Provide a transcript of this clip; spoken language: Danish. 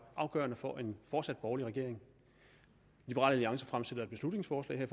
afgørende for en fortsat borgerlig regering liberal alliance fremsætter et beslutningsforslag her